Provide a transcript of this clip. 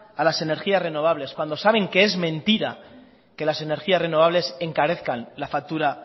a las energías renovables cuando saben que es mentira que las energías renovables encarezcan la factura